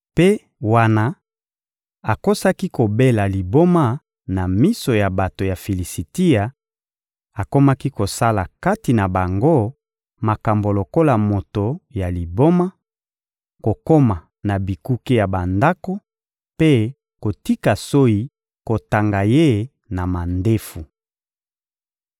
Mpe wana akosaki kobela liboma na miso ya bato ya Filisitia, akomaki kosala kati na bango makambo lokola moto ya liboma: kokoma na bikuke ya bandako, mpe kotika soyi kotanga ye na mandefu.